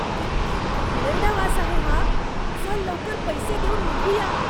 किती घाणेरडा वास आहे हा. चल लवकर पैसे देऊन निघूया.